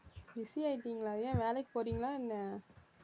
busy ஆயிட்டீங்களா ஏன் வேலைக்கு போறீங்களா என்ன?